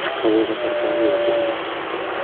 Kowok kasarta okoi kokwongyo.